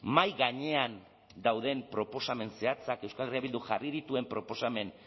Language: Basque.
mahai gainean dauden proposamen zehatzak euskal herria bilduk jarri dituen proposamen